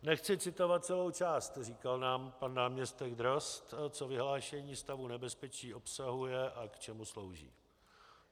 Nechci citovat celou část, říkal nám pan náměstek Drozd, co vyhlášení stavu nebezpečí obsahuje a k čemu slouží.